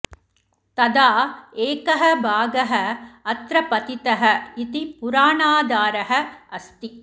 तदा एकः भागः अत्र पतितः इति पुराणाधारः अस्ति